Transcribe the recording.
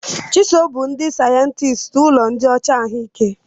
Chisom bụ ndị sayensị ụlọ nyocha ahụike.